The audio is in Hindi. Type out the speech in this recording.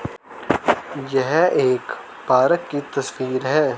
यह एक पार्क की तस्वीर है।